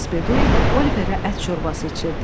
Missis Bedouin Oliverə ət şorbası içirdi.